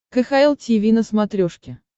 кхл тиви на смотрешке